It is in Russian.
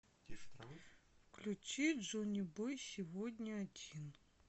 включи джонибой сегодня один